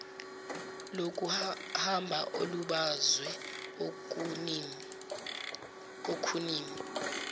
lokuhamba olubazwe okhunini